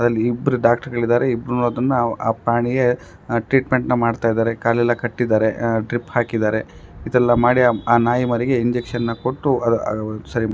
ಅಲ್ಲಿ ಇಬ್ಬರು ಡಾಕ್ಟರ್ ಗಳಿದ್ದಾರೆ ಇಬ್ರುನೂ ಅದನ್ನ ಆ ಪ್ರಾಣಿಗೆ ಆಹ್ಹ್ ಟ್ರೀಟ್ಮೆಂಟ್ ಮಾಡ್ತಾ ಇದ್ದಾರೆ ಕಾಲೆಲ್ಲಾ ಕಟ್ಟಿದ್ದಾರೆ ಆಹ್ಹ್ ಡ್ರಿಪ್ ಹಾಕಿದ್ದಾರೆ ಇದೆಲ್ಲ ಮಾಡಿ ಆ ನಾಯಿ ಮರಿಗೆ ಇಂಜೆಕ್ಷನ್ ನ ಕೊಟ್ಟು ಅಹ್ ಆಹ್ಹ್ ಸರಿ--